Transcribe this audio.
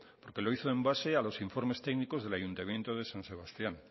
porque lo hizo en base a los informes técnicos del ayuntamiento del san sebastián